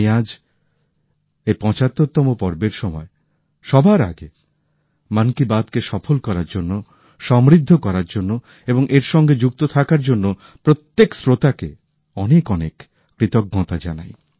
আমি আজ এই ৭৫ তম পর্বের সময় সবার আগে মন কি বাতকে সফল করার জন্য সমৃদ্ধ করার জন্য এবং এর সঙ্গে যুক্ত থাকার জন্য প্রত্যেক শ্রোতাকে অনেক অনেক কৃতজ্ঞতা জানাই